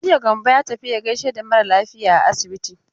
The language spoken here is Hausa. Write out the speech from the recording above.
Jiya Gambo ya tafi ya gaishe da mara lafiya a asibiti.